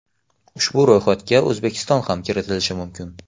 Ushbu ro‘yxatga O‘zbekiston ham kiritilishi mumkin.